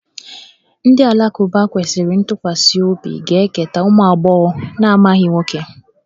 Ndị Alakụba kwesịrị ntụkwasị obi ga-eketa ụmụ agbọghọ na-amaghị nwoke